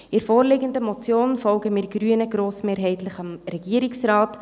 Bei der vorliegenden Motion folgen wir Grünen grossmehrheitlich dem Regierungsrat.